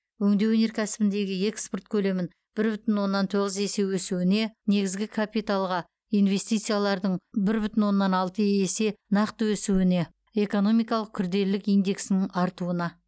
өңдеу өнеркәсібіндегі экспорт көлемінің бір бүтін оннан тоғыз есе өсуіне негізгі капиталға инвестициялардың бір бүтін оннан алты есе нақты өсуіне экономикалық күрделілік индексінің артуына